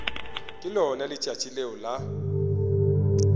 ke lona letšatši leo la